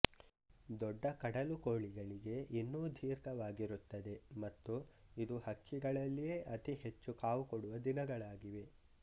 ದೊಡ್ಡ ಕಡಲುಕೋಳಿಗಳಿಗೆ ಇನ್ನೂ ದೀರ್ಘವಾಗಿರುತ್ತದೆ ಮತ್ತು ಇದು ಹಕ್ಕಿಗಳಲ್ಲಿಯೇ ಅತಿ ಹೆಚ್ಚು ಕಾವು ಕೊಡುವ ದಿನಗಳಾಗಿವೆ